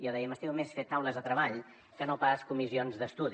jo deia m’estimo més fer taules de treball que no pas comissions d’estudi